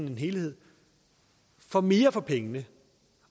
i en helhed får mere for pengene